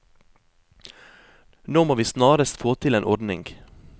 Nå må vi snarest få til en ordning.